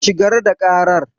Shigar da karar.